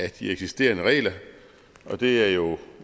af de eksisterende regler og det er jo